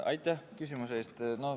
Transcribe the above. Aitäh küsimuse eest!